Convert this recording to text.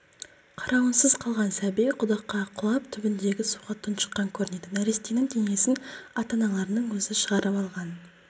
қарауынсыз қалған сәби құдыққа құлап түбіндегі суға тұншыққан көрінеді нәрестенің денесін ата-аналарының өзі шығарып алған